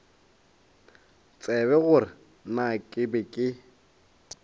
tsebe gore na ke be